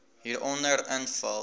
hieronder invul